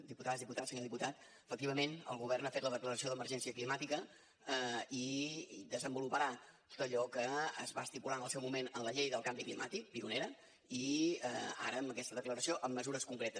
diputades diputats senyor diputat efectivament el govern ha fet la declaració d’emergència climàtica i desenvoluparà tot allò que es va estipular en el seu moment en la llei del canvi climàtic pionera i ara amb aquesta declaració amb mesures concretes